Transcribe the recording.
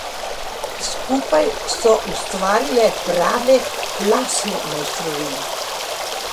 Skupaj so ustvarile prave lasne mojstrovine.